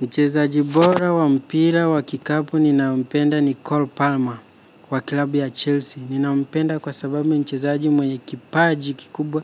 Mchezaji bora wa mpira wa kikapu ninayempenda ni Cole Palmer wa klabu ya Chelsea. Ninampenda kwa sababu ni mchezaji mwenye kipaji kikubwa,